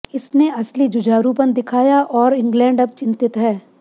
इसने असली जुझारूपन दिखाया और इंग्लैंड अब चिंतित है